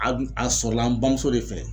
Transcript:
A dun a sɔrɔla an bamuso de fɛ